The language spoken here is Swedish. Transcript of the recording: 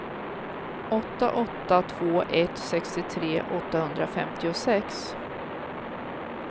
åtta åtta två ett sextiotre åttahundrafemtiosex